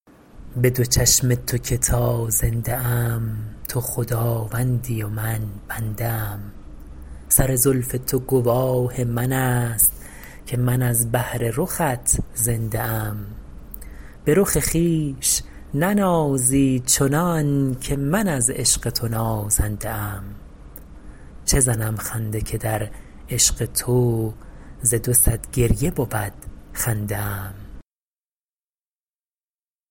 به دو چشم تو که تا زنده ام تو خداوندی و من بنده ام سر زلف تو گواه من است که من از بهر رخت زنده ام به رخ خویش ننازی چنان که من از عشق تو نازنده ام چه زنم خنده که در عشق تو ز دو صد گریه بود خنده ام